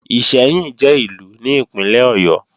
Ìṣẹ́yìn jẹ́ Ìlú ní Ìpínlẹ̀ Ọ̀yọ́